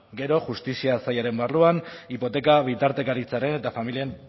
gero justizia sailaren barruan hipoteka bitartekaritzaren eta familien